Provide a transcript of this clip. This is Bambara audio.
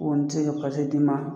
n tɛ ka d'i ma.